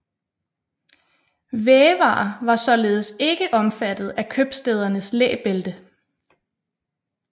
Vævere var således ikke omfattet af købstædernes læbælte